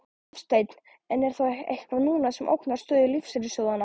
Hafsteinn: En er þá eitthvað núna sem ógnar stöðu lífeyrissjóðanna?